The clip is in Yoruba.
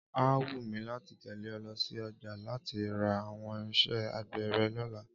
Á wù mí láti tẹ̀lé ọ lọ sí ọjà láti ra àwọn irinṣẹ́ àgbè rẹ̀ lọ́la